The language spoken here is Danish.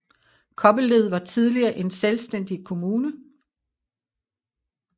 Kobbelled var tidligere en selvstændig kommune